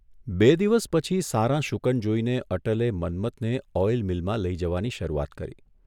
બે દિવસ પછી સારાં શુકન જોઇને એટલે મન્મથને ઓઇલ મીલમાં લઇ જવાની શરૂઆત કરી.